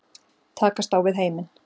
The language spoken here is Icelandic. Takast á við heiminn.